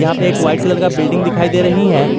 यहां पे एक व्हाइट कलर का बिल्डिंग दिखाई दे रही है।